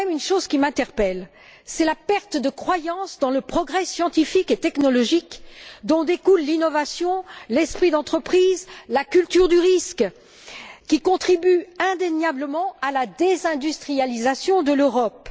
Ce qui m'interpelle, c'est la perte de croyance dans le progrès scientifique et technologique dont découlent l'innovation, l'esprit d'entreprise, la culture du risque qui contribue indéniablement à la désindustrialisation de l'Europe.